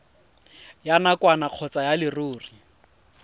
ya nakwana kgotsa ya leruri